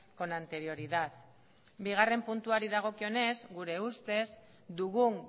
con anterioridad bigarren puntuari dagokionez gure ustez dugun